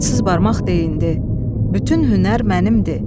Adsız barmaq deyindi: "Bütün hünər mənimdir."